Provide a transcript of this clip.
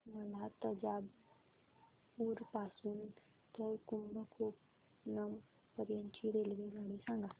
मला तंजावुर पासून तर कुंभकोणम पर्यंत ची रेल्वेगाडी सांगा